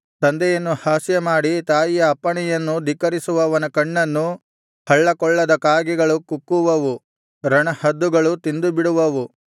ತಂದೆಯನ್ನು ಹಾಸ್ಯಮಾಡಿ ತಾಯಿಯ ಅಪ್ಪಣೆಯನ್ನು ಧಿಕ್ಕರಿಸುವವನ ಕಣ್ಣನ್ನು ಹಳ್ಳಕೊಳ್ಳದ ಕಾಗೆಗಳು ಕುಕ್ಕುವವು ರಣಹದ್ದುಗಳು ತಿಂದುಬಿಡುವವು